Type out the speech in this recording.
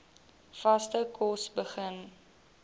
vaste kos begin